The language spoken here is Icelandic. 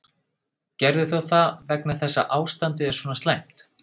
Gerðir þú það vegna þess að ástandið er svona slæmt?